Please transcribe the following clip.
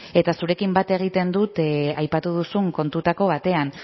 eta zurekin bat egiten dut aipatu duzun kontu batean